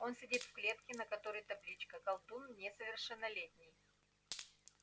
он сидит в клетке на которой табличка колдун несовершеннолетний